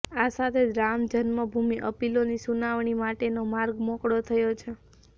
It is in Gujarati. આ સાથે જ રામજન્મભૂમિ અપીલોની સુનાવણી માટેનો માર્ગ મોકળો થયો છે